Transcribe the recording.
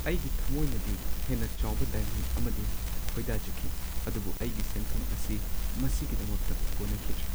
ꯑꯩꯒꯤ ꯊꯝꯃꯣꯏꯅꯗꯤ ꯍꯦꯟꯅ ꯆꯥꯎꯕ ꯗꯥꯏꯃꯟ ꯑꯃꯗꯤ ꯈꯣꯏꯗꯥꯖꯈꯤ, ꯑꯗꯨꯕꯨ ꯑꯩꯒꯤ ꯁꯦꯟꯐꯝ ꯑꯁꯤ ꯃꯁꯤꯒꯤꯗꯃꯛꯇ ꯀꯣꯟꯅꯈꯤꯗ꯭ꯔꯦ ꯫